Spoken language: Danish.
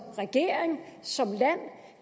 regering som land